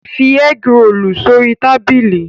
Fi ẹ́grolù sórí tábìlì!